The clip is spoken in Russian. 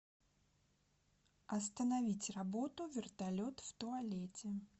остановить работу вертолет в туалете